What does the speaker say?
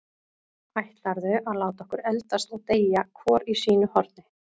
Ætlarðu að láta okkur eldast og deyja hvort í sínu horni?